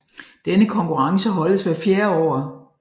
Denne konkurrence holdes hvert fjerde år